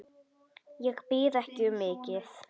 Ég bið ekki um mikið.